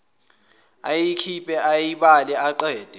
ayikhiphe ayibale aqede